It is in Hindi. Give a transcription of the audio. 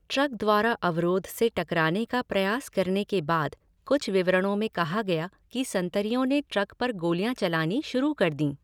ट्रक द्वारा अवरोध से टकराने का प्रयास करने के बाद, कुछ विवरणों में कहा गया कि संतरियों ने ट्रक पर गोलियाँ चलानी शुरू कर दीं।